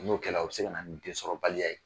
N'o kɛra o be se ka na nin densɔrɔbaliya ye